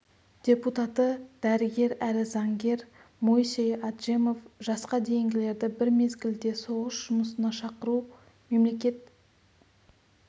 депутаты дәрігер әрі заңгер моисей аджемов жасқа дейінгілерді бір мезгілде соғыс жұмысына шақыру мемлекет